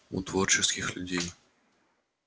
у творческих людей